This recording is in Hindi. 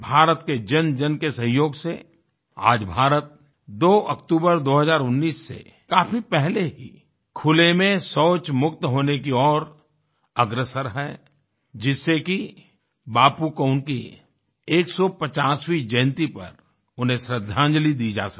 भारत के जनजन के सहयोग से आज भारत 2 अक्टूबर 2019 से काफी पहले ही खुले में शौच मुक्त होने की ओर अग्रसर है जिससे कि बापू को उनकी 150वीं जयंती पर उन्हें श्रद्धांजलिदी जा सके